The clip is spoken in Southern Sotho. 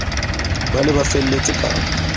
ba ne ba felletse ka